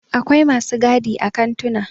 akwai masu gadi a kantuna